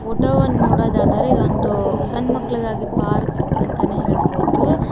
Photo one ನೋಡುವುದಾದರೆ ಇದೊಂದು ಸಣ್ಣ ಮಕ್ಕಳಿಗಾಗಿ ಪಾರ್ಕ್ ಅಂತಾನೇ ಹೇಳ್ಬೋದು.